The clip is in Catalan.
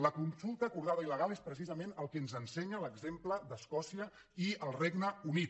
la consulta acordada i legal és precisament el que ens ensenya l’exemple d’escòcia i el regne unit